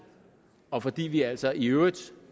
og fordi vi altså i øvrigt